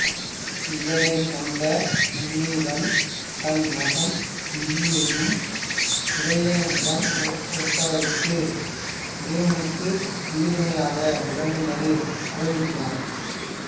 இதனைக் கண்ட முனிவன் தன் மகன் யூகியையும் உதயணனிடம் ஒப்படைத்து உதயணனுக்கு உயிர்த்துணையாக விளங்கும்படி அறிவுறுத்தினான்